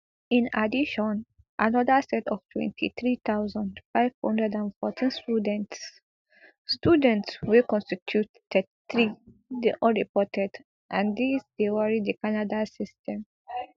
in addition anoda set of twenty-three thousand, five hundred and fourteen students students wey constitute thirty-three dey unreported and dis dey worry di canada system